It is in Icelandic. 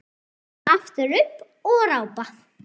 Standa aftur upp og rápa.